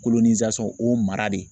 o mara de